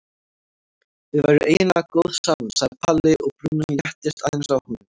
Þið væruð eiginlega góð saman sagði Palli og brúnin léttist aðeins á honum.